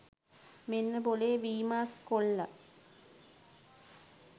මෙන්න බොලේ වීමා කොල්ල